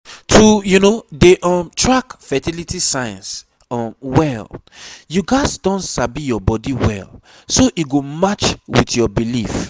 to dey um track fertility signs um well you gats don sabi your body well so e go match with your belief